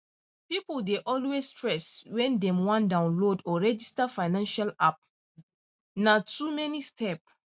people dey always stress when dem wan download or register financial app na na too many step